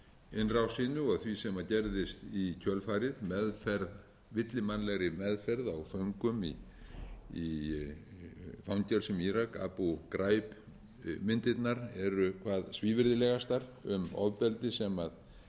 innrásinni og því sem gerðist í kjölfarið villimannlegri meðferð á föngum í fangelsum í írak abu graib myndirnar eru hvað svívirðilegastar um ofbeldi sem